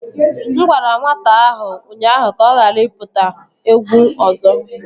M gwara nwata ahụ ụnyahụ ka ọ ghara ịpụta egwu ọzọ